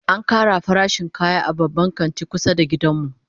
An kara farashin kaya a Babban Kantin kusa da gidan mu